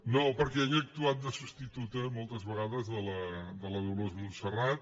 no perquè ella ha actuat de substituta moltes vegades de la dolors montserrat